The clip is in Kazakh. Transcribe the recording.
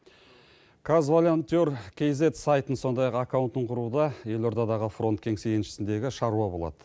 казволоунтир кизед сайтын сондай ақ аккаунтын құруға елордадағы фронт кеңсе еншісіндегі шаруа болады